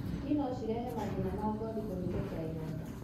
Ngi nocĩrehe mathĩna ma ngothi kũhĩtũkĩra ironda.